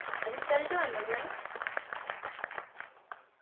result വന്നോ